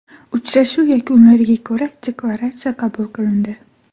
Uchrashuv yakunlariga ko‘ra deklaratsiya qabul qilindi.